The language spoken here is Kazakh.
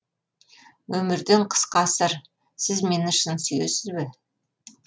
өмірден қысқа сыр сіз мені шын сүйесіз бе